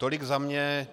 Tolik za mě.